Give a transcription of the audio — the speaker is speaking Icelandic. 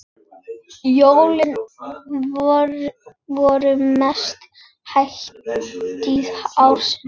Jólin voru mesta hátíð ársins.